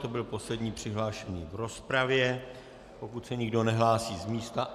To byl poslední přihlášený v rozpravě, pokud se nikdo nehlásí z místa...